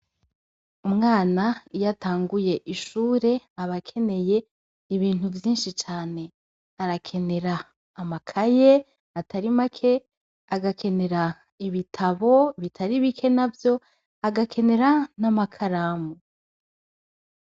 Umwana iyatanguye ishure abakeneye ibintu vyinshi cane arakenera amakaye atarimake agakenera ibitabo bitari bike na vyo agakenera n'amakaramu.